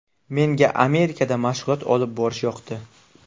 Menga Amerikada mashg‘ulot olib borish yoqdi.